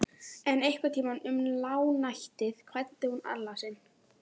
En einhvern tíma um lágnættið kvaddi hún Alla sinn.